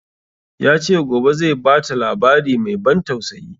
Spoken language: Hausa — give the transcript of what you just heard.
Ya ce gobe zai bata labari mai ban tausayi